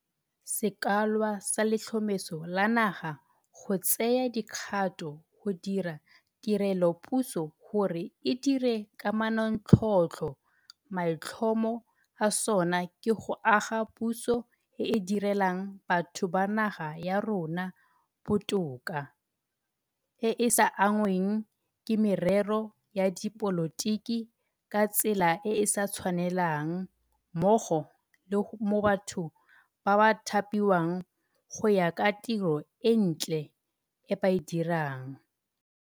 Sekwalwa sa Letlhomeso la Naga go Tsaya Dikgato go dira Tirelopuso gore e Dire ka Manontlhotlho maitlhomo a sona ke go aga puso e e di relang batho ba naga ya rona botoka, e e sa anngweng ke merero ya dipolotiki ka tsela e e sa tshwanelang mmogo le mo batho ba thapiwang go ya ka tiro e ntle e ba e dirang.